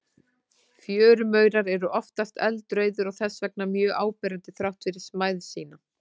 Fjörumaurar eru oftast eldrauðir og þess vegna mjög áberandi þrátt fyrir smæð sína.